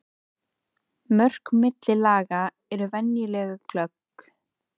Mörk milli laga eru venjulega glögg.